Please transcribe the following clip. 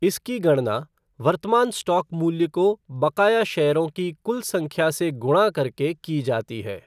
इसकी गणना वर्तमान स्टॉक मूल्य को बकाया शेयरों की कुल संख्या से गुणा करके की जाती है।